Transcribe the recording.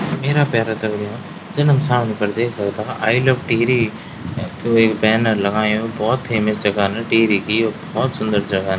मेरा प्यारा दगडियों जन हम सामने फर देख सकदा आई लव टिहरी वेक बैनर लगायुं भौत फेमस जगह न टिहरी की यु भौत सुन्दर जगह न।